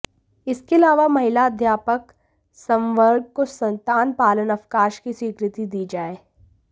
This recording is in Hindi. इसके अलावा महिला अध्यापक संवर्ग को संतान पालन अवकाश की स्वीकृति दी जाए